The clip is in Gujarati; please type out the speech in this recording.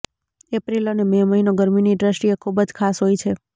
એપ્રિલ અને મે મહિનો ગરમીની દ્રષ્ટિએ ખૂબ જ ખાસ હોય છે